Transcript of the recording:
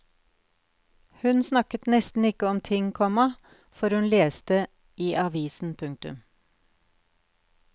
Hun snakket nesten ikke om noen ting, komma for hun leste i avisen. punktum